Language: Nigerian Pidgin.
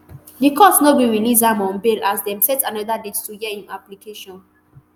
di court no gree release am on bail as dem set anoda date to hear im application